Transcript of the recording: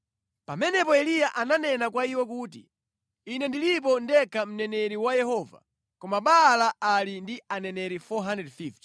Pamenepo Eliya ananena kwa iwo kuti, “Ine ndilipo ndekha mneneri wa Yehova, koma Baala ali ndi aneneri 450.